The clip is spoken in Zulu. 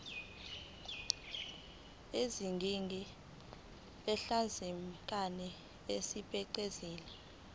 eziningi ezahlukahlukene esebenzisa